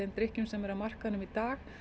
drykkjum sem eru á markaði í dag